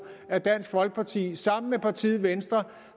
at dansk folkeparti sammen med partiet venstre